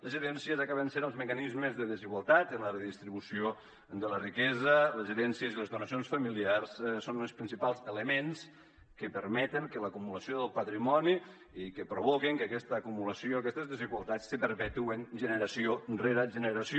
les herències acaben sent els mecanismes de desigualtat en la redistribució de la riquesa les herències i les donacions familiars són els principals elements que permeten l’acumulació del patrimoni i que provoquen que aquesta acumulació i aquestes desigualtats se perpetuen generació rere generació